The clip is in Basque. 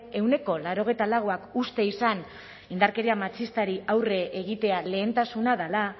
ehuneko laurogeita lauak uste izan indarkeria matxistari aurre egitea lehentasuna dela